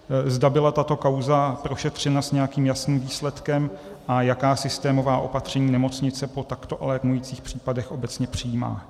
Zda byla tato kauza prošetřena s nějakým jasným výsledkem a jaká systémová opatření nemocnice po takto alarmujících případech obecně přijímá?